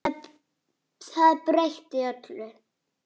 Það breytti öllu.